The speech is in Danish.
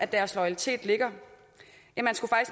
deres loyalitet ligger